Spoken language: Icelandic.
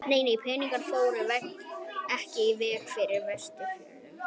Nei, peningarnir fóru ekki í vegagerð á Vestfjörðum.